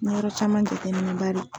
Yɔrɔ caman dɛgɛniba de